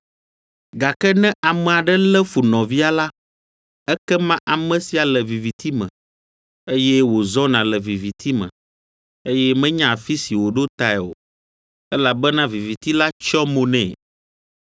Gake ne ame aɖe lé fu nɔvia la, ekema ame sia le viviti me, eye wòzɔna le viviti me, eye menya afi si wòɖo tae o, elabena viviti la tsyɔ mo nɛ.